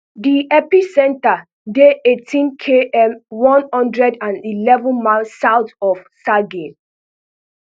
di epicentre dey eighteen km one hundred and eleven miles south of sagay